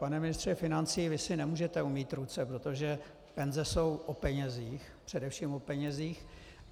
Pane ministře financí, vy si nemůžete umýt ruce, protože penze jsou o penězích, především o penězích.